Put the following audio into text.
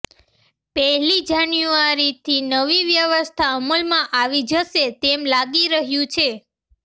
પહેલી જાન્યુઆરીથી નવી વ્યવસ્થા અમલમાં આવી જશે તેમ લાગી રહ્યું છે